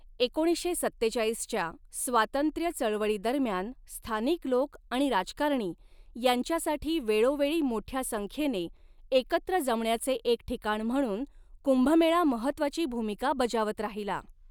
एकोणीसशे सत्तेचाळीसच्या स्वातंत्र्य चळवळी दरम्यान, स्थानिक लोक आणि राजकारणी यांच्यासाठी वेळोवेळी मोठ्या संख्येने एकत्र जमण्याचे एक ठिकाण म्हणून 'कुंभमेळा' महत्त्वाची भूमिका बजावत राहिला.